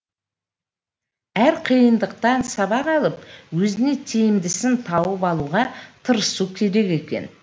әр қиындықтан сабақ алып өзіңе тиімдісін тауып алуға тырысу керек екен